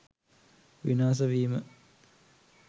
විනාස වීම